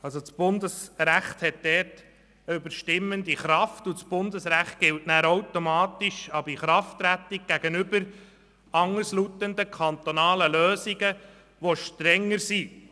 Das Bundesrecht hat eine überstimmende Kraft und gilt automatisch ab Inkrafttreten gegenüber anderslautenden kantonalen Lösungen, die strenger sind…